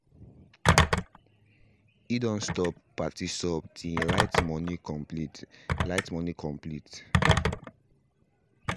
he done stop party sub till he light money complete light money complete